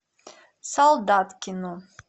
солдаткину